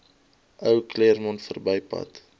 ou claremont verbypad